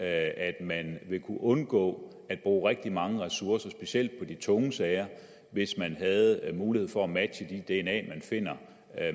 at man vil kunne undgå at bruge rigtig mange ressourcer specielt i de tunge sager hvis man havde mulighed for at matche de dna spor man finder